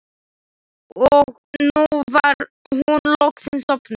Og nú var hún loksins sofnuð.